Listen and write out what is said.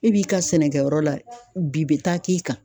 E b'i ka sɛnɛkɛyɔrɔ la bin be taa k'e kan